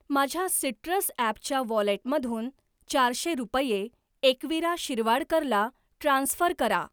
माझ्या सिट्रस ॲपच्या वॉलेटमधून चारशे रुपये एकवीरा शिरवाडकर ला ट्रान्स्फर करा